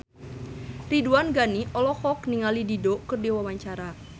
Ridwan Ghani olohok ningali Dido keur diwawancara